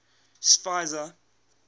schweizer